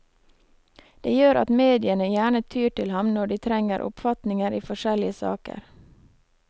Det gjør at mediene gjerne tyr til ham når de trenger oppfatninger i forskjellige saker.